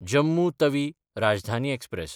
Jammu Tawi Rajdhani express